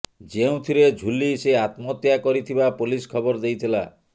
ଯେଉଁଥିରେ ଝୁଲି ସେ ଆତ୍ମହତ୍ୟା କରିଥିବା ପୋଲିସ ଖବର ଦେଇଥିଲା